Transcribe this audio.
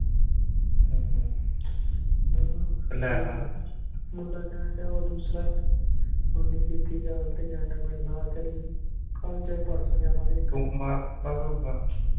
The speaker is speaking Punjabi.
ਹਮ ਮੁੰਡਾ ਕਹਿਣ ਦਿਆਂ ਉਹ ਦੂਸਰਾ ਇਕ ਉਹਨੇ ਕੀਤੀ ਗੱਲ ਤੇ ਕਹਿਣ ਦਿਆਂ ਮੇਰੇ ਨਾਲ ਚੱਲੀ। ਕੱਲ੍ਹ ਜਾਇ ਪਰਸੋਂ ਜਾਣਾ ਵੇਖਣ।